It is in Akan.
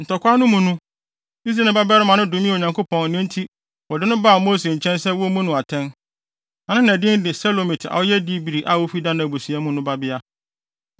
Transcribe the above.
Ntɔkwaw no mu no, Israelni babarima no domee Onyankopɔn enti wɔde no baa Mose nkyɛn sɛ wommu no atɛn. Na ne na din de Selomit a ɔyɛ Dibri a ofi Dan abusua mu no babea.